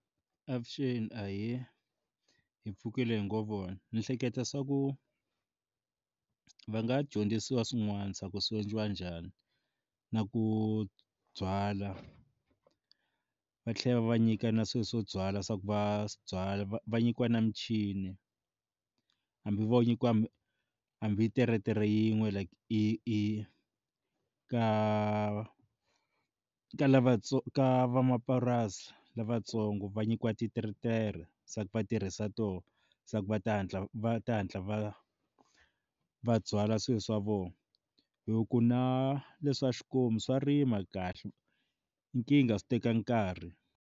Avuxeni ahee, hi pfukile hi ngo vona ni hleketa swa ku va nga dyondzisiwa swin'wana swa ku swi endliwa njhani na ku byala va tlhela va va nyika na swilo swo byala swa ku va byala va va nyikiwa na michini hambi vo nyikiwa hambi teretere yin'we like i i ka ka lavatsongo ka van'wamapurasi lavatsongo va nyikiwa titeretere se va tirhisa to se ku va ta hatla va ta hantla va va byala swilo swa vona hi ku na leswa xikomu swa rima kahle nkingha swi teka nkarhi.